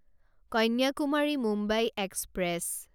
Kanyakumari Mumbai express